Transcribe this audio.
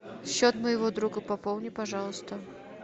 счет моего друга пополни пожалуйста